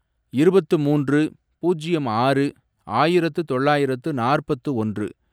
இருபத்து மூன்று, பூஜ்யம் ஆறு, ஆயிரத்து தொள்ளாயிரத்து நாற்பத்து ஒன்று